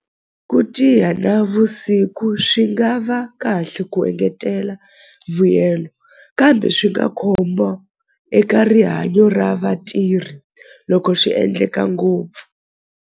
Ku navusiku swi nga va kahle ku engetela vuyelo kambe swi nga khombo eka rihanyo ra vatirhi loko swi endleka ngopfu.